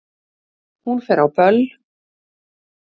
Hún fer á böll!